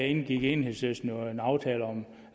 indgik enhedslisten jo en aftale om